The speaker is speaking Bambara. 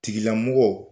Tigilamɔgɔ